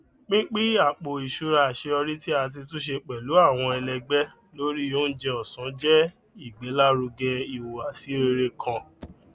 pínpín àpò iṣúra aṣeyọrí tí ati túnse pẹlú àwọn ẹlẹgbẹ lórí oúnjẹ ọsán jẹ ìgbèlárugẹ ìhùwàsí rere kan